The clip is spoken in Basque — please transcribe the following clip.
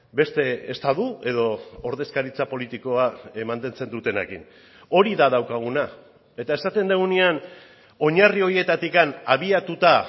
beste estatu edo ordezkaritza politikoa mantentzen dutenekin hori da daukaguna eta esaten dugunean oinarri horietatik abiatuta